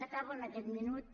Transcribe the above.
acabo en aquest minut